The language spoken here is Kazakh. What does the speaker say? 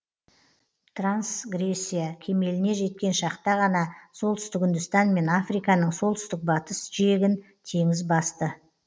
трансгрессия кемеліне жеткен шақта ғана солтүстік үндістан мен африканың солтүстік батыс жиегін теңіз басты